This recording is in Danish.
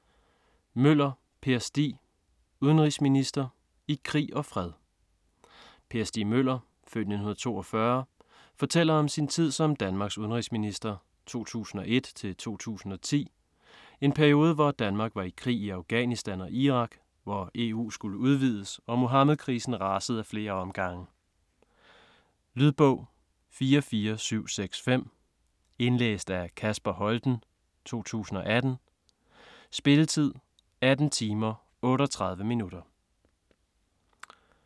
Møller, Per Stig: Udenrigsminister: i krig og fred Per Stig Møller (f. 1942) fortæller om sin tid som Danmarks udenrigsminister (2001-2010), en periode hvor Danmark var i krig i Afghanistan og Irak, hvor EU skulle udvides og Muhammedkrisen rasede af flere omgange. Lydbog 44765 Indlæst af Kasper Holten, 2018. Spilletid: 18 timer, 38 minutter.